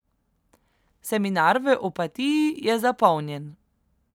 Seminar v Opatiji je zapolnjen.